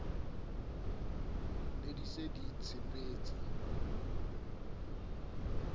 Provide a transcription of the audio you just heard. ne di se di tshepetse